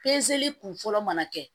kun fɔlɔ mana kɛ